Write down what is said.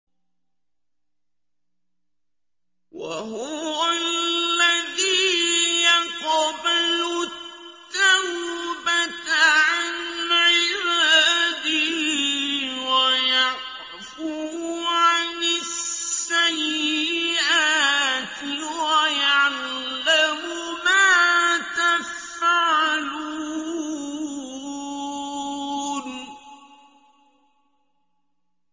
وَهُوَ الَّذِي يَقْبَلُ التَّوْبَةَ عَنْ عِبَادِهِ وَيَعْفُو عَنِ السَّيِّئَاتِ وَيَعْلَمُ مَا تَفْعَلُونَ